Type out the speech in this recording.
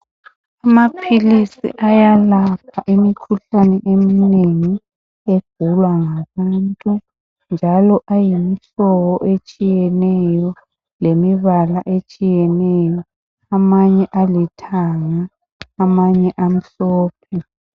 Amaphilisi ayalapha imikhuhlane eminengi egulwa ngabantu njalo ayimihlobo etshiyeneyo alembala etshiyeneyo. Amanye alithanga, amanye amhlophe.